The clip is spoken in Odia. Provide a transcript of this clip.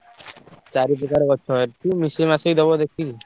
ଚାରି ପ୍ରକାର ଗଛ ଅଛି। ମିଶେଇ ମାସେଇ ଦବ ଦେଖିକି।